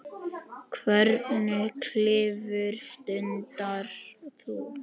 Hvernig klifur stundar þú?